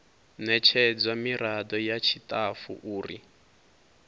ṋetshedzwa miraḓo ya tshiṱafu uri